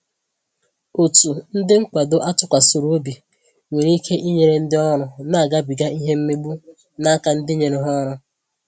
Ọtu ndị nkwado a tụkwasịrị obi nwere ike inyere ndị ọrụ na-agabiga ìhè mmegbu na áká ndi nyere ha ọrụ